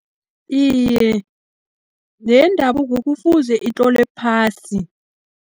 Iye, neendabuko kufuze itlolwe phasi.